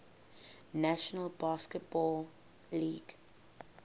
national basketball league